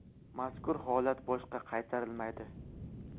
Mazkur holat boshqa qaytarilmaydi.